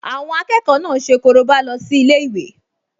Àwọn akẹ́kọ̀ọ náà ṣe korobá lọ sí ilé-ìwé